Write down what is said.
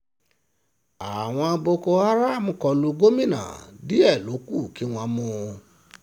àwọn boko haram kọ lu gomina díẹ̀ ló kù kí wọ́n mú un